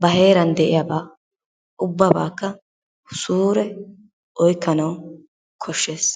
ba heeran de'iyaabaa ubbabakka suure oykkanawu koshshees.